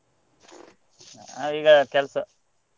ನಾವೀಗ ಕೆಲ್ಸ.